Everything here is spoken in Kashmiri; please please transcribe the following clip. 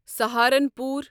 سَہارنپوٗر